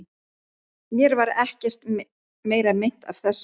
Mér varð ekkert meira meint af þessu.